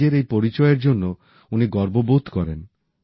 নিজের এই পরিচয়ের জন্য উনি গর্ব বোধ করেন